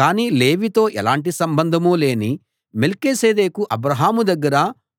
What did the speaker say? కానీ లేవీతో ఎలాంటి సంబంధమూ లేని మెల్కీసెదెకు అబ్రాహాము దగ్గర